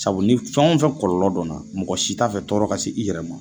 Sabu ni fɛnw fɛ kɔlɔlɔ dɔna mɔgɔ si t'a fɛ tɔɔrɔ ka s'i yɛrɛ ma.